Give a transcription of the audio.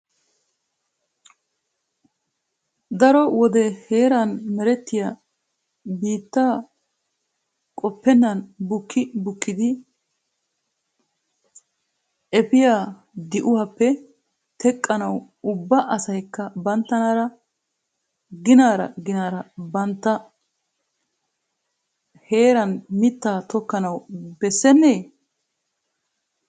Daro sone heeran meretiya biittaa qopenan bukki bukkidi epoya di'uwappe teqqanaw ubba asaykka banttara ginaara ginaara bantta jeeran mitta tokana bessene?